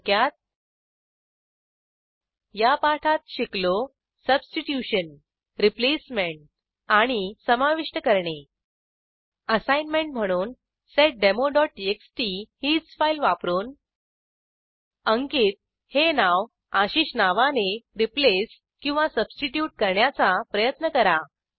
थोडक्यात या पाठात शिकलो सबस्टिट्युशन रिप्लेसमेंट आणि समाविष्ट करणे असाईनमेंट म्हणून seddemoटीएक्सटी हीच फाईल वापरून अंकित हे नाव आशिष नावाने रिप्लेस किंवा सबस्टिट्युट करण्याचा प्रयत्न करा